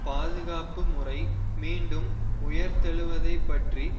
பாதுகாப்பு முறை மீண்டும் உயிர்த்தெழுவதைப்பற்றி